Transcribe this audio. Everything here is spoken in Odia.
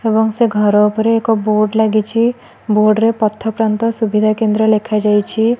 ଏବଂ ସେ ଘର ଉପରେ ଏକ ବୋର୍ଡ ଲାଗିଚି ବୋର୍ଡ ରେ ପଥକ୍ରାନ୍ତ ସୁବିଧା କେନ୍ଦ୍ର ଲେଖା ଯାଇଛି।